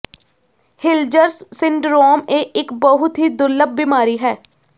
ਹਿਲਜ਼ਰਸ syndrome ਇਹ ਇੱਕ ਬਹੁਤ ਹੀ ਦੁਰਲਭ ਬਿਮਾਰੀ ਹੈ